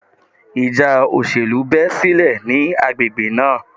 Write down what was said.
Ìjà òṣèlú bẹ́ sílẹ̀ ní agbègbè náà.